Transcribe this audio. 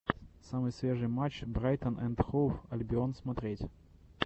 самый свежий матч брайтон энд хоув альбион смотреть